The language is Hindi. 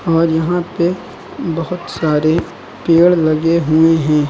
और यहां पे बहोत सारे पेड़ लगे हुए हैं।